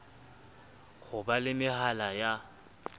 ho ba le mehala ya